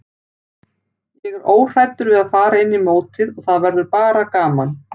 Ég er óhræddur við að fara inn í mótið og það verður bara gaman.